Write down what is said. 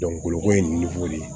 kolo ko ye de ye